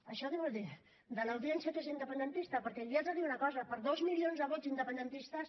això què vol dir de l’audiència que és independentista perquè li haig de dir una cosa per dos milions de vots independentistes